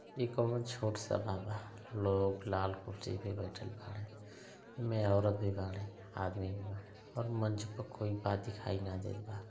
ई काउनों छोट सभा बा। लोग लाल कुर्सी पे बईठल बाड़ें। एम्में औरत भी बाड़ी। आदमी भी बाड़ें और मंच पर कोई बा दिखाई ना देत बा।